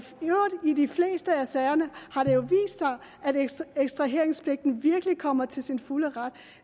øvrigt i de fleste af sagerne vist sig at ekstraheringspligten virkelig kommer til sin fulde ret